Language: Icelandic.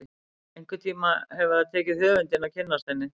Einhvern tíma hefur það tekið höfundinn að kynnast henni.